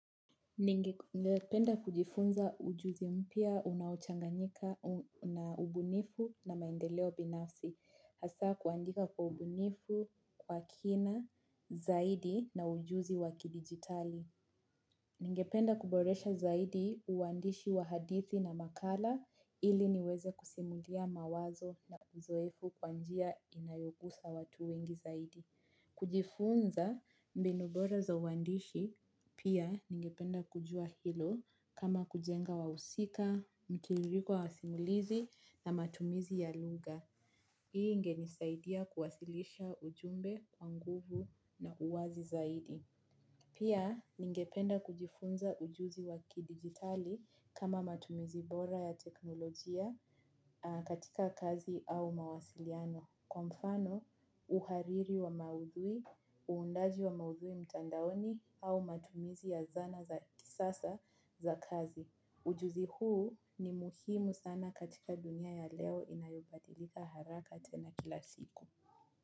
Ningependa kujifunza ujuzi mpya unaochanganyika na ubunifu na maendeleo binafsi. Hasa kuandika kwa ubunifu, kwa kina, zaidi na ujuzi waki digitali. Ningependa kuboresha zaidi uwandishi wa hadithi na makala ili niweze kusimulia mawazo na uzoefu kwa njia inayogusa watu wengi zaidi. Kujifunza mbinu bora za uwandishi pia ningependa kujua hilo kama kujenga wahusika, mtiririko wa simulizi na matumizi ya lugha. Hii ingenisaidia kuwasilisha ujumbe, wanguvu na uwazi zaidi. Pia ningependa kujifunza ujuzi waki digitali kama matumizi bora ya teknolojia katika kazi au mawasiliano Kwa mfano uhariri wa maudhui, uundaji wa maudhui mtandaoni au matumizi ya zana za kisasa za kazi. Ujuzi huu ni muhimu sana katika dunia ya leo inayobadilika haraka tena kila siku.